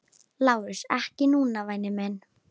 LÁRUS: Ekki núna, væni minn.